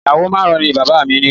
Ìyàwó márùn-ún ni bàbá-bàbá mi ni